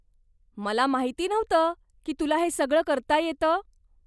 मला माहिती नव्हतं की तुला हे सगळं करता येतं.